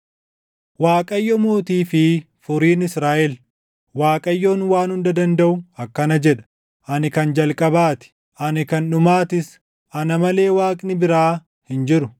“ Waaqayyo Mootii fi Furiin Israaʼel Waaqayyoon Waan Hunda Dandaʼu akkana jedha: Ani kan jalqabaa ti; ani kan dhumaatis; ana malee Waaqni biraa hin jiru.